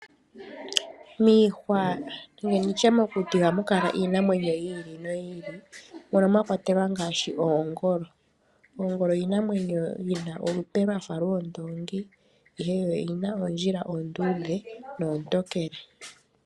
Miihwa nenge tutye mokuti ohamu kala iinamwenyo yi ili noyi ili mono mwa kwatelwa ngaashi oongolo. Oongolo iinamwenyo yi na olupe lwafa lwoondoongi ihe yo oyi na oondjila oonduudhe noontokele.